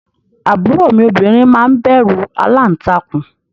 Àbúrò mi obìnrin máa ń bẹ̀rù aláǹtakùn